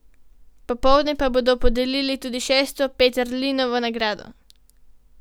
Popoldne pa bodo podelili tudi šesto Peterlinovo nagrado.